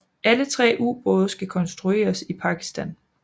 Alle tre ubåde skal konstrueres i Pakistan